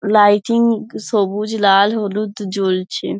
Lighting সবুজ লাল হলুদ জ্বলছে।